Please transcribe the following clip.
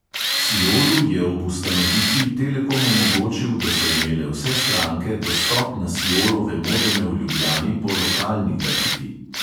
Siolu je ob ustanovitvi telekom omogočil, da so imele vse stranke dostop na siolove modeme v ljubljani po lokalni tarifi.